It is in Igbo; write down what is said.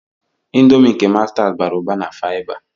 Ịndomii nke mastas bara ụba na faiba.